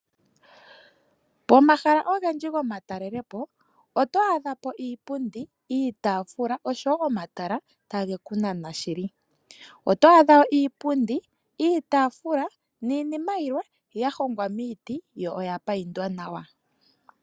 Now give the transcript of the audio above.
Pomahala ongendji go matalele po otwa dhapo iipundi, iitafula osho wo omatala tangekunana shili, otwadha iipundi, iitafula ninima yilwe yahongwa miti yo oya payindwa nawa.